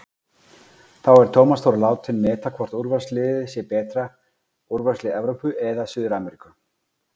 Þá er Tómas Þór látinn meta hvort úrvalsliðið sé betra, úrvalslið Evrópu eða Suður-Ameríku?